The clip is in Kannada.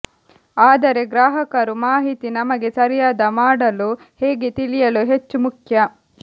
ಆದರೆ ಗ್ರಾಹಕರು ಮಾಹಿತಿ ನಮಗೆ ಸರಿಯಾದ ಮಾಡಲು ಹೇಗೆ ತಿಳಿಯಲು ಹೆಚ್ಚು ಮುಖ್ಯ